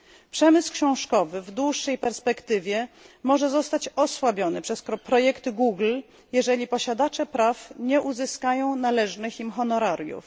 Przemysł książkowy w dłuższej perspektywie może zostać osłabiony przez projekty Google'a, jeżeli posiadacze praw nie uzyskają należnych im honorariów.